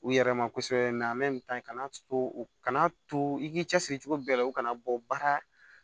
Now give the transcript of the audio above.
U yɛrɛ ma kosɛbɛ kana to u kana to i k'i cɛsiri cogo bɛɛ la u kana bɔ baara